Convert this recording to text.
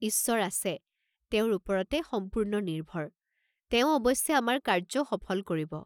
ঈশ্বৰ আছে, তেওঁৰ ওপৰতে সম্পূৰ্ণ নিৰ্ভৰ, তেওঁ অৱশ্যে আমাৰ কাৰ্য্য সফল কৰিব।